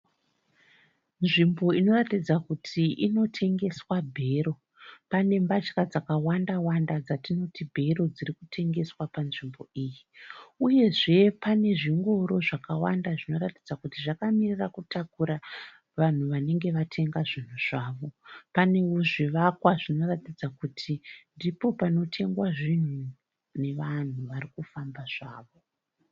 Nzvimbo inoratidza kuti inotengeswa bhero. Pane mbatya dzakawanda-wanda dzatinoti bhero dzirikutengeswa panzvimbo iyi uyezve panezvingoro avakawanda zvinoratidza kuti zvakamirira kutakura vanhu vanenge vatenga zvinhu zvavo. Panewo zvivakwa zvinoratidza kuti ndipo panotengwa zvinhu nevanhu varikufamba zvavo.